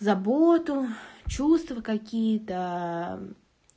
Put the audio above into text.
заботу чувства какие-то